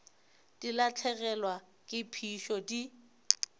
di lahlegelwa ke phišo di